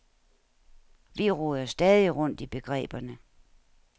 Vi roder stadig rundt i begreberne.